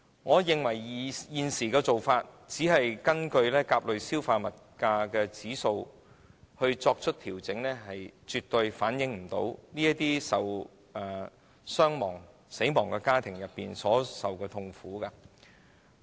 我認為，現時根據甲類消費物價指數作出調整的做法，絕對無法反映死者家庭所受的痛苦。